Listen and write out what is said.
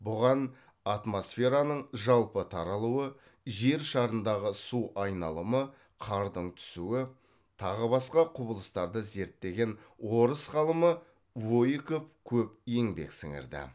бұған атмосфераның жалпы таралуы жер шарындағы су айналымы қардың түсуі тағы басқа құбылыстарды зерттеген орыс ғалымы воейков көп еңбек сіңірді